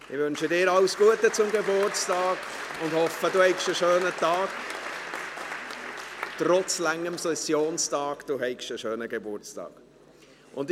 Ich wünsche dir alles Gute zum Geburtstag und hoffe, dass du trotz langem Sessionstag einen schönen Geburtstag hast.